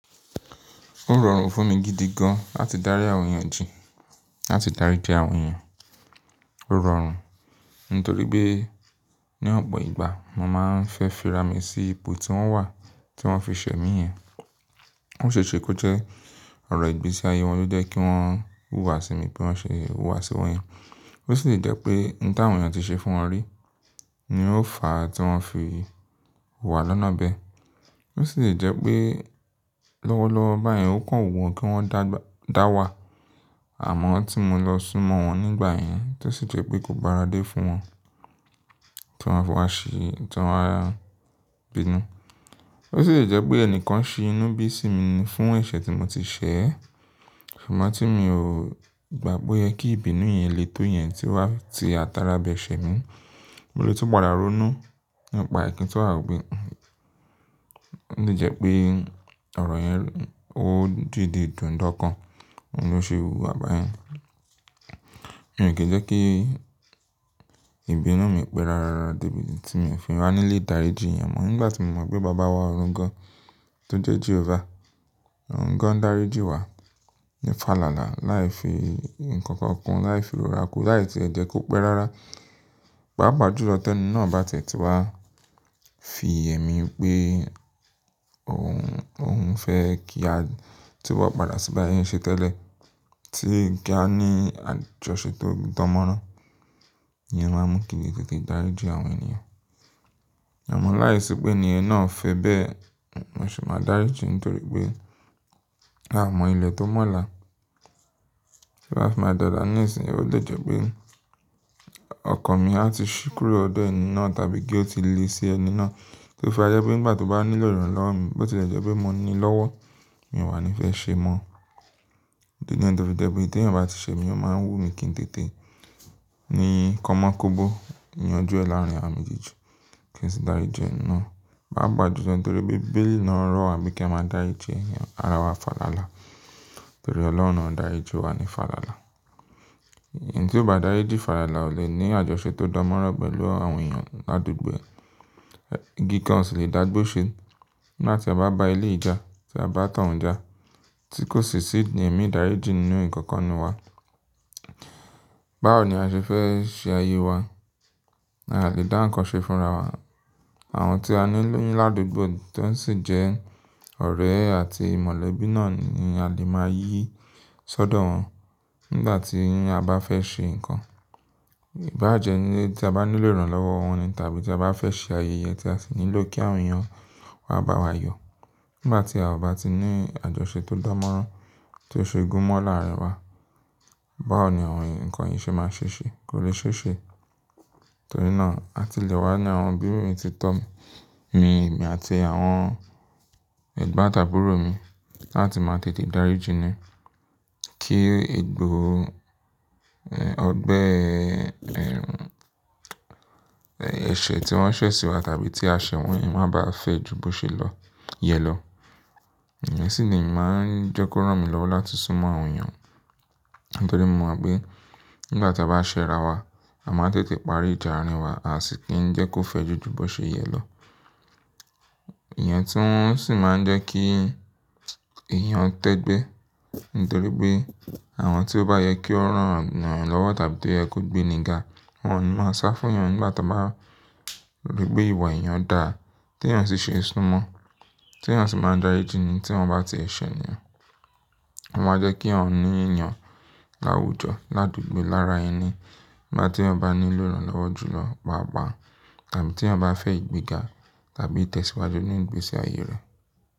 Ó rọrùn fún mi gidi gan láti dárí àwọn èèyàn ji, láti daríji àwọn èèyàn. Ó rọrùn nítorí pé ní ọ̀pọ̀ ìgbà mo máa ń fẹ́ fi ra mi sí ipò tí wọ́n wà tí wọ́n fi ṣẹ̀ mí yẹn. Ó ṣe é ṣe kó jẹ́ ọ̀rọ̀ ìgbésí ayé wọn ló jẹ́ kí wọ́n hùwà sí mi bí wọ́n ṣe hùwà sí wọn yẹn. Ó sì lè jẹ́ pé ohun tí àwọn èèyàn ti ṣe fún wọn rí ni ó fà á tí wọ́n fi hùwà lọ́nà bẹ́ẹ̀. Ó sì lè jẹ́ pé lọ́wọ́lọ́wọ́ báyẹn ó kàn wù wọ́n kí wọ́n dáwà, àmọ́ tí mo lọ súnmọ́ wọn nígbà yẹn, tó sì jẹ́ pé kò báradé fún wọn tí wọ́n á fi wá ṣi, tí wọ́n á bínú. Ó sì lè jẹ́ pé ẹnìkan ṣi inú bí sí mi ni fún ẹ̀ṣẹ̀ tí mo ti ṣẹ̀, ṣùgbọ́n tí mi ò gbà po yẹ kí ìbínú yẹn lè tó yẹn tí o wa ti atara bẹ ṣẹ̀ mí. Mo lè tún padà ronú nípa ẹ̀kín tí wọ́n á gbé. Ó lè jẹ́ pé ọ̀rọ̀ yẹn ó dìde dùn dọ́ kan, òun ló ṣe hùwà báyẹn. Èmi kì í jẹ́ kí ìbínú mi pé rárá ra débi tí èmi ò fi wá nílé daríji èèyàn mọ́. Nígbà tí mo mọ̀ pé bàbá wa òòrùn gan tó jẹ́ Jehovah, Òòrùn gan daríji wa ní fàlàlà, láì fi nǹkan kan kún, láì fi ròrá ku, láì tí ẹ jẹ́ kó pẹ́ rárá. Pàápà jùlọ tí ẹni náà bá tẹ̀ ti wá fi yẹ́ mi pé òun, òun fẹ́ kí a tí wa padà síba sẹn ṣe tẹ́lẹ̀ tí ká ní àjọṣe tó dánmọ́rán. Ìyẹn máa mú kín le tètè daríji àwọn ènìyàn. Àmọ́ láìsí pé ènìyàn náà fẹ́ bẹ́ẹ̀, mo sì máa daríji nítorí pé a mọ ilẹ̀ tó mọ̀la. Tí ó bá fi máa dọ̀là ní ìsìn, ó lè jẹ́ pé ọkan mi á ti ṣí kúrò lọdẹ ẹni náà tàbí kí ó ti lé sí ẹni náà tí ó fi máa jẹ́ pé nígbà tí ó bá nílò ìrànlọ́wọ́ mi, bó ti lè jẹ́ pé mo nílọ́wọ́, mi ò wà ní fẹ́ ṣé mọ́. Di nìyẹn, tó fi jẹ́ pé tí ènìyàn bá ti ṣẹ mi, ó máa ń wú mi kín tètè ní kanmọ kóbó yanjú ẹ láàrín àwa méjèèjì kí n sì daríji ẹ̀ni náà. Paa pa jùlọ nítorí pé bíbélì náà rọ̀ wá pé kí a máa dájí, ara fàlàlà nítorí Ọlọ́run daríji wa ní fàlàlà. Ẹni tí ó bá daríji fàlàlà, ó lè ní àjọṣe tó dánmọ́rán pẹ̀lú àwọn èèyàn ládùgbò e. Igi kan osì lè dàgbò ṣe nígbà tí a bá bá elé yi jà, tí a bá ton já tí kò sì sí ẹ̀mí daríji nínú ìkankan inú wa. Báwo ni a ṣe fẹ́ ṣe ayé wa? A lè dá nǹkan ṣe fúnra wa. Àwọn tí a nílò ní ládùgbò tí ó sì jẹ́ ọ̀rẹ́ àti mọ̀lẹ́bí náà ni a lè máa yí sọ́dọ̀ wọn nígbà tí a bá fẹ́ ṣe nǹkan. Bá jẹ́ tí a bá nílò ìrànlọ́wọ́ wọn ni tàbí tí a bá fẹ́ ṣe ayẹyẹ tí a sì nílò kí àwọn èèyàn wá bá wa yọ̀. Nígbà tí a ò bá ti ní àjọṣe tó dánmọ́rán tí ó ṣe é gún mọ́ làárìn wa, báwo ni àwọn nǹkan yìí ṣe máa ṣe ṣe? Kò lè ṣe ṣe. Torí náà a ti lè wá ní àwọn òbí mi ti tọ́ mi, mi àti àwọn ẹ̀gbọ́n tàbúrò mi láti máa tètè daríji ni kí egbò, ẹ́, ọgbẹ́, ẹ́, ẹ̀ṣẹ̀ tí wọ́n ṣẹ̀ sí wa tàbí tí a ṣẹ̀ wọ́n yẹn má bá fẹ́ ju bó ṣe lọ yẹ lọ. Ìyẹn sì ni ì máa ń jekò rán mi lọ́wọ́ láti súnmọ́ àwọn èèyàn nítorí mo mọ̀ pé nígbà tí a bá ṣẹ́ra wa, a máa tètè parí ìjà àárín wa, a sì kí ń jẹ́ kó fẹ́ ju ju bó ṣe yẹ lọ. Ìyẹn tún sì máa ń jẹ́ kí èyàn tẹ́gbẹ́ nítorí pé àwọn tí ó bá yẹ kí ó rán wọn lọ́wọ́ tàbí tó yẹ kó gbé níga, wọ́n máa sá fún èèyàn nígbà tí wọ́n bá rí pé ìwà èèyàn dà á tí èèyàn sì ṣe súnmọ́, tí èèyàn sì máa daríji ni tí wọ́n bá ti ṣẹ̀ ni. Wọn máa jẹ́ kí èèyàn ní yàn láwùjọ ládùgbò lára ẹni nígbà tí èèyàn bá nílò ìrànlọ́wọ́ jùlọ, pàápà tàbí tí èèyàn bá fẹ́ ìgbéga tàbí ìtẹ̀síwájú nínú ìgbésí ayé rẹ̀.